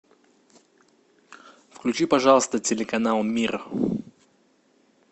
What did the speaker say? включи пожалуйста телеканал мир